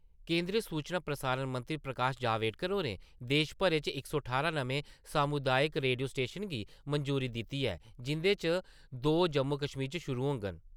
केंदरी सूचना प्रसारण मंत्री प्रकाश जावेडकर होरें देश भरै च इक सौ ठारां नमें समूदायक रेडियो स्टेशनें गी मंजूरी दिती ऐ, जिन्दे चा दो जम्मू-कश्मीर च शुरु होङन।